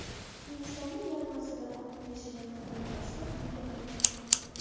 Hindistonda yarim asrdan ortiq yashagan xitoylik askar uyiga qaytdi .